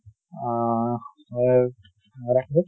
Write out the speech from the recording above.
আহ হয় ৰাকেশ